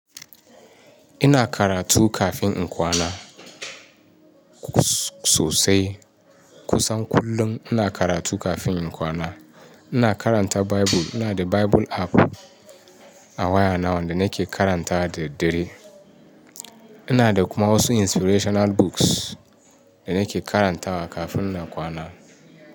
Ina karatu kafin in kwana sosai. Kusan kullum ina karatu kafin in kwana. Ina karanta Bible. Ina da Bible app a waya na wanda nake karanta da daddare. Ina da kuma wasu inspirational books da nake karantawa kafin na kwana.